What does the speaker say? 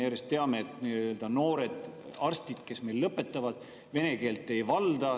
Me teame, et noored arstid, kes lõpetavad, vene keelt ei valda.